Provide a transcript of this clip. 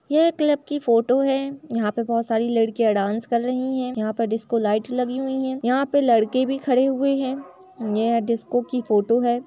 यह एक क्लब की फोटो है। यहाँ पर बहोत सारी लड़कियां डांस कर रही हैं। यहाँ पर डिस्को लाइट लगी हुई है यहाँ पर लड़के भी खड़े हुए है यह डिस्को की फोटो है।